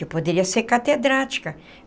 Eu poderia ser catedrática.